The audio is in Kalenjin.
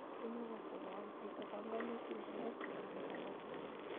Imukagse kowal chito panganutik ngomesulda nekamoche